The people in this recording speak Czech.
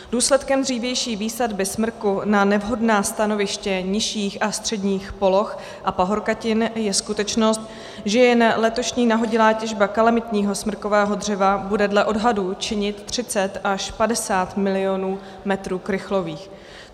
Důsledkem dřívější výsadby smrku na nevhodná stanoviště nižších a středních poloh a pahorkatin je skutečnost, že jen letošní nahodilá těžba kalamitního smrkového dřeva bude dle odhadů činit 30 až 50 milionů metrů krychlových.